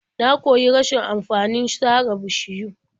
Na koyi rashin amfanin sare bishiyu.